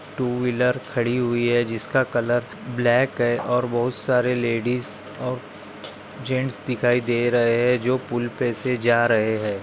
Two wheeler खड़ी हुई है जिसका कलर ब्लॅक है और बहुत सारे लेडीस और जेन्ट्स दिखाई दे रहे है जो पूल पे से जा रहे है।